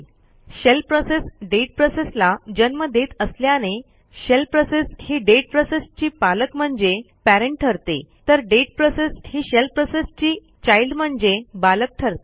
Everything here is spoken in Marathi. शेल प्रोसेस डेट प्रोसेसला जन्म देत असल्याने शेल प्रोसेस ही डेट प्रोसेसची पालक म्हणजे पॅरेंट ठरते तर डेट प्रोसेस ही शेल प्रोसेसची चाइल्ड म्हणजे बालक ठरते